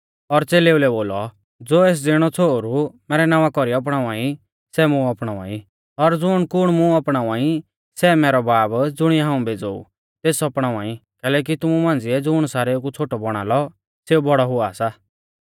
और च़ेलेऊ लै बोलौ ज़ो एस ज़िणौ छ़ोहरु मैरै नावां कौरी अपणावा ई सै मुं अपणावा ई और ज़ुण कुण मुं अपणावा ई सै मैरौ बाब ज़ुणिऐ हाऊं भेज़ोऊ तेस अपणावा ई कैलैकि तुमु मांझ़िऐ ज़ुण सारेऊ कु छ़ोटौ बौणा लौ सेऊ बौड़ौ हुआ सा